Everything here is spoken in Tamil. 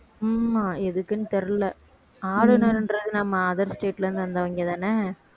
ஆமா எதுக்குன்னு தெரியல ஆளுநருன்றது நம்ம other state ல இருந்து வந்தவங்கதானே